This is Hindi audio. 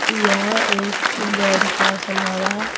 यह एक बेड का सम्ररा रहा।